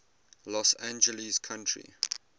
los angeles county